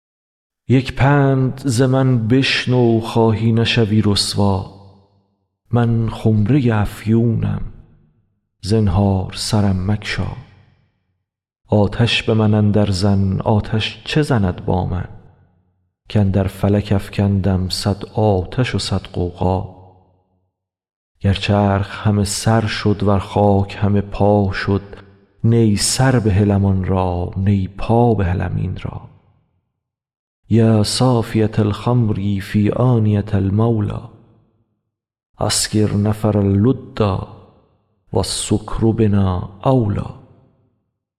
یک پند ز من بشنو خواهی نشوی رسوا من خمره ی افیونم زنهار سرم مگشا آتش به من اندرزن آتش چه زند با من کاندر فلک افکندم صد آتش و صد غوغا گر چرخ همه سر شد ور خاک همه پا شد نی سر بهلم آن را نی پا بهلم این را یا صافیه الخمر فی آنیه المولی اسکر نفرا لدا و السکر بنا اولی